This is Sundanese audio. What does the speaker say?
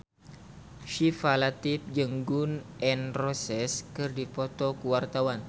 Syifa Latief jeung Gun N Roses keur dipoto ku wartawan